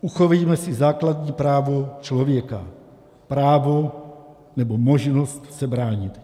Uchovejme si základní právo člověka - právo nebo možnost se bránit.